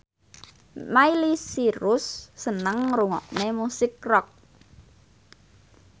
Miley Cyrus seneng ngrungokne musik rock